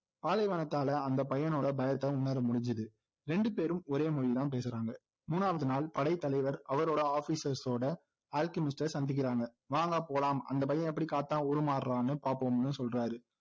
பாலைவனத்தால அந்த பையனோட பயத்தை உணர முடிஞ்சுது ரெண்டுபேரும் ஒரே மொழிதான் பேசுறாங்க மூணாவது நாள் படைத்தலைவர் அவரோட officers ஓட அல்கெமிஸ்ட்டை சந்திகிறாங்க வாங்க போலாம் அந்த பையன் எப்படி காத்தா உருமாறுறான்னு பாப்போம்னு சொல்றாரு